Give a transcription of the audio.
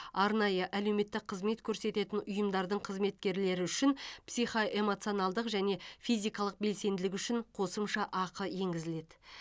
арнайы әлеуметтік қызмет көрсететін ұйымдардың қызметкерлері үшін психоэмоционалдық және физикалық белсенділігі үшін қосымша ақы енгізіледі